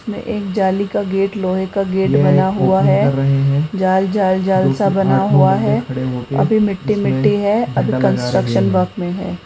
में एक जाली का गेट लोहे का गेट बना हुआ है जाल-जाल-जाल सा बना हुआ है अभी मिट्टी-मिट्टी है अभी कंस्ट्रक्शन वर्क में है।